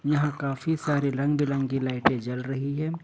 यहां काफी सारे रंग बिरंग की लाइटें जल रही हैं।